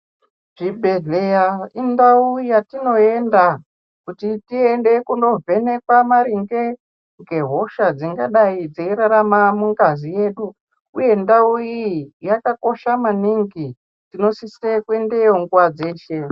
Chibhedhleya indau yatinoenda kuti tiende kunovhendekwa maringe ngehosha dzingadai dzeirarama mungazi yedu, uye ndau iyi yakakosha maningi, tinosise kuendeyo nguva dzeshe.